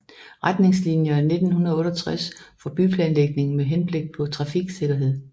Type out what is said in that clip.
Retningslinier 1968 for byplanlægning med henblik på trafiksikkerhed